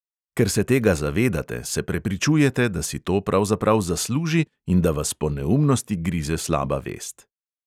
Ker se tega zavedate, se prepričujete, da si to pravzaprav zasluži in da vas po neumnosti grize slaba vest.